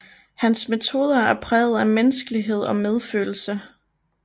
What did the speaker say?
Hans metoder er præget af menneskelighed og medfølelse